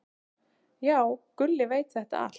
"""Já, Gulli veit þetta allt."""